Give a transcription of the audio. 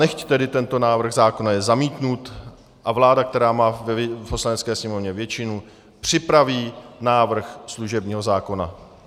Nechť tedy tento návrh zákona je zamítnut a vláda, která má v Poslanecké sněmovně většinu, připraví návrh služebního zákona.